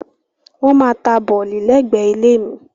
Wọ́n máa ta bọ̀lì lẹ́gbẹ̀ẹ́ ilé mi.